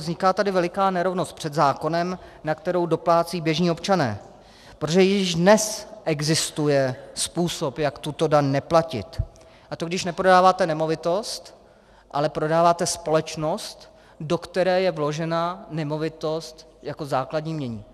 Vzniká tady veliká nerovnost před zákonem, na kterou doplácejí běžní občané, protože již dnes existuje způsob, jak tuto daň neplatit, a to když neprodáváte nemovitost, ale prodáváte společnost, do které je vložena nemovitost jako základní jmění.